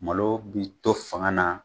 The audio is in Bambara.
Malo b'i to fanga na